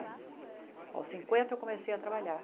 Aos cinquenta eu comecei a trabalhar.